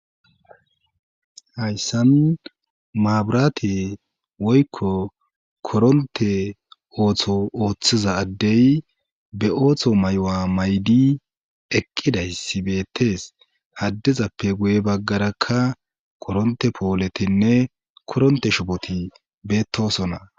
hayssan maaburate woykko koronte ooththo ooththiza addey be ooththo may7o7a maydi eqqidaysibettees haddezappe guye baggarakka koronte pooletinne koronte shopoti beettosona